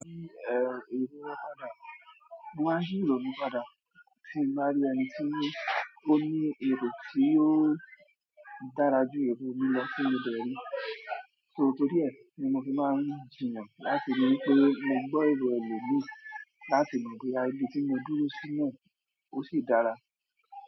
Èrò wọ́n padà, mo máa ń yí èrò mi padà tí ń bá rí ẹni tí ó ní èrò tí ó dára jù èrò mi lọ tí mo dẹ̀ ríi. So torí ẹ̀ ni mo fi máa ń jiyàn láti ríi pé mo gbọ́ èrò ẹlòmíì láti mọ̀ bóyá ibi tí mo dúró sí náà ó sì dára.